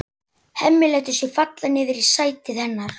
Hemmi lætur sig falla niður í sætið hennar.